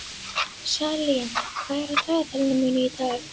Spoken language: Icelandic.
Salín, hvað er á dagatalinu mínu í dag?